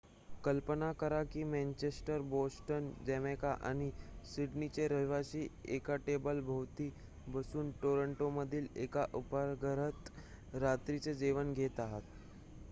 कल्पना करा की मॅन्चेस्टर बोस्टन जमैका आणि सिडनेचे रहिवासी एका टेबलाभोवती बसून टोरांटोमधील एका उपाहारगृहात रात्रीचे जेवण घेत आहेत